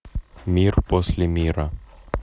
мир после мира